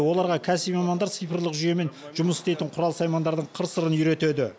оларға кәсіби мамандар цифрлық жүйемен жұмыс істейтін құрал саймандардың қыр сырын үйретеді